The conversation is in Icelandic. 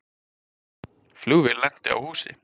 Flugvél lenti á húsi